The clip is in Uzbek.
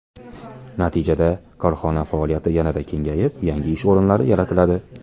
Natijada korxona faoliyati yanada kengayib, yangi ish o‘rinlari yaratiladi.